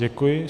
Děkuji.